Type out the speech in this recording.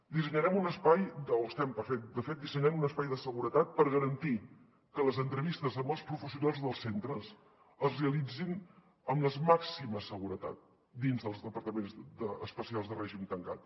dissenyarem un espai o estem de fet dissenyant un espai de seguretat per garantir que les entrevistes amb els professionals dels centres es realitzin amb la màxima seguretat dins dels departaments especials de règim tancat